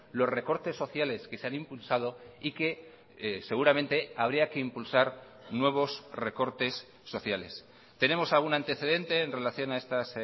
los recortes sociales que se han impulsado y que seguramente habría que impulsar nuevos recortes sociales tenemos algún antecedente en relación a estas